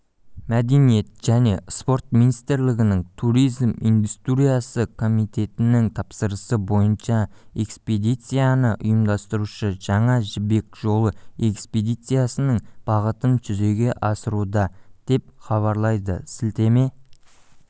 мәдениет және спорт министрлігінің туризм индустриясы комитетінің тапсырысы бойынша экспедицияны ұйымдастырушы жаңа жібек жолы экспедициясының бағытын жүзеге асыруда деп хабарлайды сілтеме